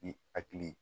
I hakili